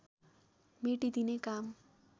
मेटिदिने काम